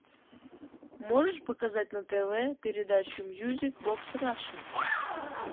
можешь показать на тв передачу мьюзик бокс раша